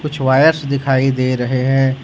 कुछ वायरस दिखाई दे रहे हैं।